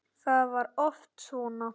Það var oft svo.